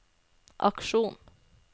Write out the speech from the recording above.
aksjonen